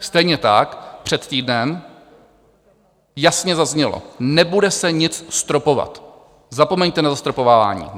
Stejně tak před týdnem jasně zaznělo: Nebude se nic stropovat, zapomeňte na zastropovávání.